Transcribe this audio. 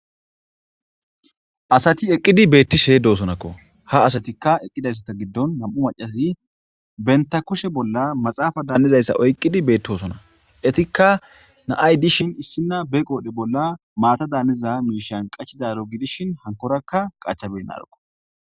Asati eeqidi beettishe dossonnakko ha astikka eqidayssatta giddon nam'u macati bentta kushe bolla maaxafada hanizayssa oyqidi bettossonna eettikka na'ayi dishin be qodhe bolla maatada hanizaro bolla qachchizaro gidishin hankorakka qacha benarukku